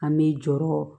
An bɛ jɔrɔ